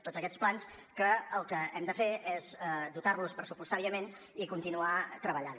tots aquests plans que el que hem de fer és dotar los pressupostàriament i continuar treballant